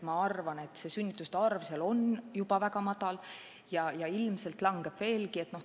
Ma arvan, et sünnituste arv seal on ju väga väike ja ilmselt kahaneb veelgi.